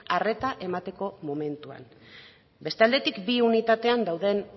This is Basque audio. arreta emateko momentuan beste aldetik bi unitatean dauden